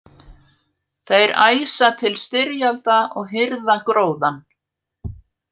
Þeir æsa til styrjalda og hirða gróðann.